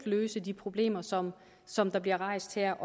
løse de problemer som som bliver rejst her